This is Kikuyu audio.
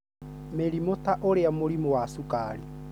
Mĩrimũ ta ũrĩa mũrimũ wa cukari,